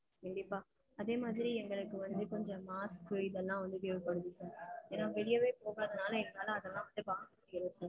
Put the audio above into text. கண்டிப்பா அதே மாதிரி எங்களுக்கு வந்து கொஞ்சம் வந்து mask இதெல்லாம் வந்து தேவைப்படுது. ஏன்னா வெளியவே போகாதனால எங்களால அதெல்லாம் வாங்க முடியாது கண்டிப்பா.